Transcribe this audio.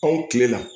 Anw kile la